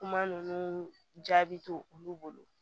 Kuma ninnu jaabi to olu bolo